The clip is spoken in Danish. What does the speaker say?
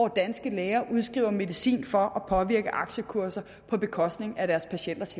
danske læger udskriver medicin for at påvirke aktiekurserne på bekostning af deres patienters